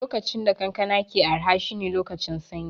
Lokacin da kankana ke araha shine lokacin sanyi